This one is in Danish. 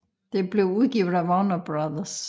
Det blev udgivet af Warner Bros